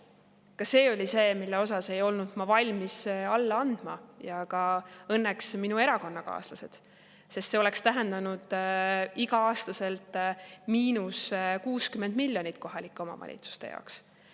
Ka see oli see, mille osas ei olnud ma valmis alla andma – ja õnneks ka minu erakonnakaaslased –, sest see oleks tähendanud iga-aastaselt 60 miljonit eurot miinust kohalike omavalitsuste jaoks.